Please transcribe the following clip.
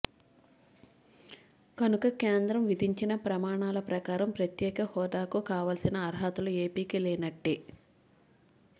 కనుక కేంద్రం విధించిన ప్రమాణాల ప్రకారం ప్రత్యేక హోదాకు కావలసిన అర్హతలు ఏపీకి లేనట్టే